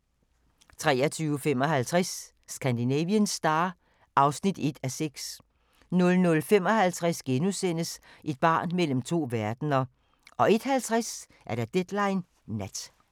23:55: Scandinavian Star (1:6) 00:55: Et barn mellem to verdener * 01:50: Deadline Nat